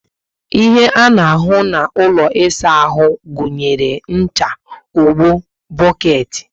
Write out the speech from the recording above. Ihe a ná ahu na ụlọ ịsa áhù gụnyere ncha, ogbo, boketi